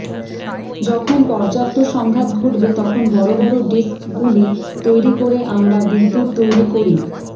যখন পর্যাপ্ত সংঘাত ঘটবে তখন বড় বড় ডিস্কগুলি তৈরি করে আমরা বিদ্যুত্ তৈরি করি